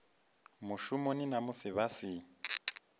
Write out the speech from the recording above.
mushumoni na musi vha si